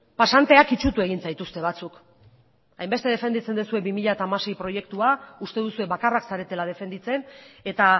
pasanteak itsutu egin zaituzte batzuk hainbeste defenditzen duzue bi mila hamasei proiektua uste duzue bakarrak zaretela defenditzen eta